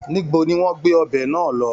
Níbo ni wọ́n gbé ọbẹ náà lọ?